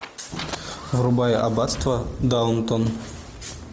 врубай аббатство даунтон